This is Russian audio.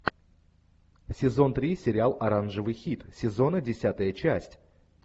сезон три сериал оранжевый хит сезона десятая часть